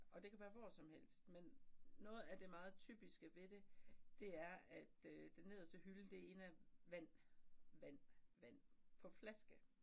Og det kan være hvor som helst men noget af det meget typiske ved det det er at øh den nederste hylde det ene er vand vand vand på flaske